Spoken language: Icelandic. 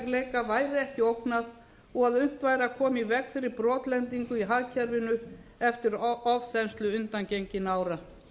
fjármálastöðugleika væri ekki ógnað og unnt væri að koma í veg fyrir brotlendingu í hagkerfinu eftir ofþenslu undangenginna ára